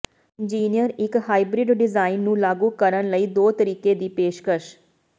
engineer ਇੱਕ hybrid design ਨੂੰ ਲਾਗੂ ਕਰਨ ਲਈ ਦੋ ਤਰੀਕੇ ਦੀ ਪੇਸ਼ਕਸ਼